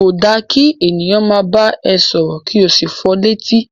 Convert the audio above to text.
Ko da ki ènìyàn máa bá ẹ sọ̀rọ̀ ki o sí fọ létí.